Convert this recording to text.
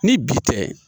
Ni bi tɛ